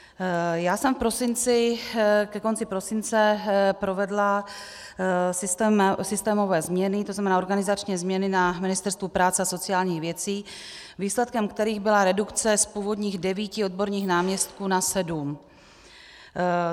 Já jsem ke konci prosince provedla systémové změny, to znamená organizační změny, na Ministerstvu práce a sociálních věcí, důsledkem kterých byla redukce z původních devíti odborných náměstků na sedm.